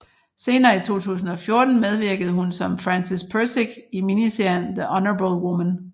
Senere i 2014 medvirkede hun som Frances Pirsig i miniserien The Honourable Woman